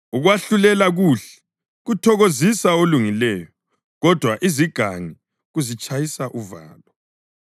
Ukwahlulela kuhle kuthokozisa olungileyo kodwa izigangi kuzitshayisa uvalo.